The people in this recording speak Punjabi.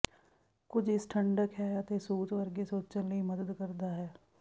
ਕੁਝ ਇਸ ਠੰਢਕ ਹੈ ਅਤੇ ਸੂਤ ਵਰਗੇ ਸੋਚਣ ਲਈ ਮਦਦ ਕਰਦਾ ਹੈ